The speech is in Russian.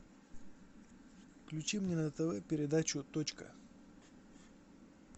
включи мне на тв передачу точка